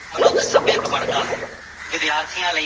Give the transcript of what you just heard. ਮਨੁੱਖ ਸੱਭਿਅਕ ਬਣਦਾ ਹੈ ਵਿਦਿਆਰਥੀਆਂ ਲਈ